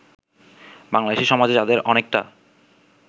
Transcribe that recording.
বাংলাদেশী সমাজে যাদের অনেকটা